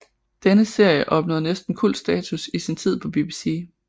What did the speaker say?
Denne serie opnåede næsten kultstatus i sin tid på BBC